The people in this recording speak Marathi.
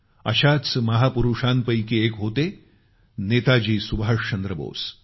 अशाच महापुरुषांपैकी एक होते नेताजी सुभाषचंद्र बोस